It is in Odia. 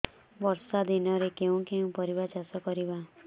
ବର୍ଷା ଦିନରେ କେଉଁ କେଉଁ ପରିବା ଚାଷ କରିବା